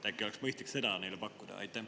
Äkki oleks mõistlik seda neile pakkuda?